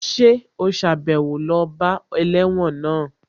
Ṣé ò sàbẹ̀wo lọ bá ẹlẹ́wọ̀n náà?